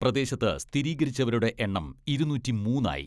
പ്രദേശത്ത് സ്ഥിരീകരിച്ചവരുടെ എണ്ണം ഇരുനൂറ്റിമൂന്ന് ആയി.